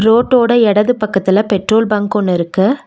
ரோட்டோட எடது பக்கத்துல petrol bunk ஒன்னு இருக்கு.